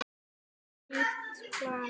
Finna nýtt plan.